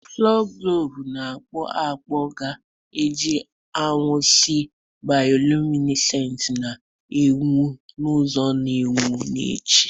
Fosuglov na-akpụ akpụ ga-eji anwansi bioluminesenti, na-enwu n'ụzọ na-enwu n'echi.